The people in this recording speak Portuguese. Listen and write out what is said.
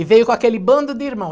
E veio com aquele bando de irmão.